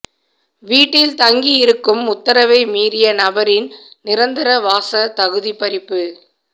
வீட்டில் தங்கியிருக்கும் உத்தரவை மீறிய நபரின் நிரந்தரவாச தகுதி பறிப்பு